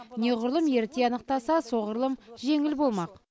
неғұрлым ерте анықтаса соғырлұм жеңіл болмақ